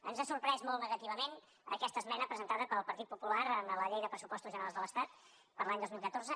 ens ha sorprès molt negativament aquesta esmena presentada pel partit popular a la llei de pressupostos generals de l’estat per a l’any dos mil catorze